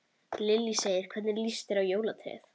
Lillý: Hvernig lýst þér á jólatréð?